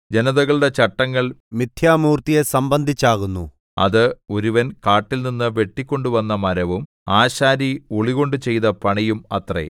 ജനതകളുടെ ചട്ടങ്ങൾ മിഥ്യാമൂർത്തിയെ സംബന്ധിച്ചാകുന്നു അത് ഒരുവൻ കാട്ടിൽനിന്നു വെട്ടിക്കൊണ്ടുവന്ന മരവും ആശാരി ഉളികൊണ്ടു ചെയ്ത പണിയും അത്രേ